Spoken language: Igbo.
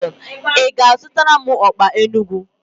Ị ga-azutara m okpa n'Enugwu?